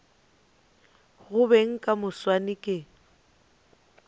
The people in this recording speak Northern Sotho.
go beng ka moswane ke